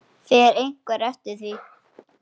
Fer einhver eftir því?